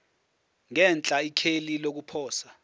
ngenhla ikheli lokuposa